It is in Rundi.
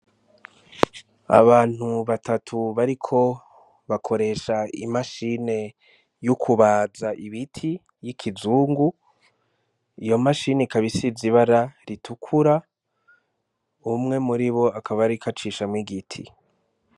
Abantu batatu bariko bakoresha imashine y'ukubaza y'ikizungu, iyo mashini ikaba isize ibara ritukura umwe muribo akaba ariko acishamwo igiti.